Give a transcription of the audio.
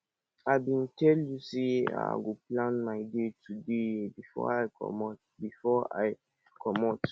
i bin tell you sey i go plan my day today before i comot before i comot